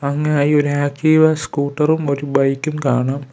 ഒരു ആക്ടിവ സ്കൂട്ടറും ഒരു ബൈക്കും കാണാം.